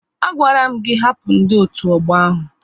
A gwara m gị hapụ ndị otu ọgbọ ahụ!